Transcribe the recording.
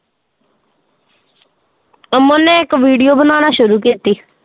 ਅਮਨ ਨੇ ਇੱਕ video ਬਣਾਉਣਾ ਸ਼ੁਰੂ ਕੀਤੀ।